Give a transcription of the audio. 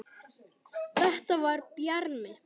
Þetta var Bjarmi!